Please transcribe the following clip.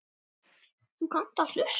Þú kannt að hlusta.